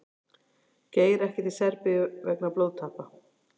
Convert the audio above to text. Geir ekki til Serbíu vegna blóðtappa